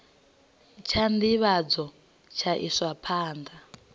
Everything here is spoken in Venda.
tsha nḓivhadzo tsha iswa kha